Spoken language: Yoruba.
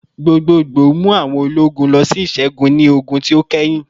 Gbogboogbo mu awọn ologun lọ si iṣẹgun ni ogun ti o kẹhin